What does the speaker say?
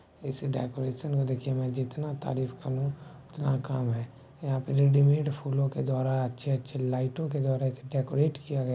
ऐसे डेकोरेशन को देखिये मैं जितना तारीफ़ करूँ उतना कम है यहाँ पर रेडीमेट फूलों के द्वारा अच्छे-अच्छे लाइटों के द्वारा इसे डेकोरेट किया गया।